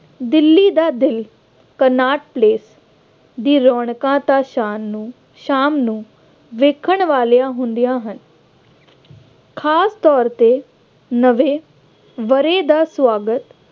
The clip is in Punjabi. ਦਿੱਲੀ ਦਾ ਦਿਲ ਕਨਾਟ ਪਲੇਸ ਦੀ ਰੌਣਕਾਂ ਤਾਂ ਸ਼ਾਨ ਨੂੰ ਸ਼ਾਮ ਵੇਖਣ ਵਾਲੀਆਂ ਹੁੰਦੀਆਂ ਹਨ। ਖਾਸ ਤੌਰ ਤੇ ਨਵੇਂ ਵਰ੍ਹੇ ਦਾ ਸਵਾਗਤ